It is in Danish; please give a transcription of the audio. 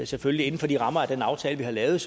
selvfølgelig inden for de rammer og den aftale vi har lavet